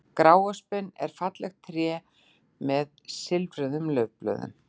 Gráöspin er fallegt tré með silfruðum laufblöðum.